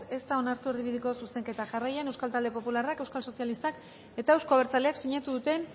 ez da onartu erdibideko zuzenketa jarraian euskal talde popularrak euskal sozialistak eta euzko abertzaleak sinatu duten